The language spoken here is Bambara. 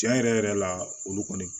Tiɲɛ yɛrɛ yɛrɛ la olu kɔni